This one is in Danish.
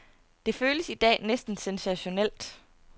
Det føles i dag næsten sensationelt.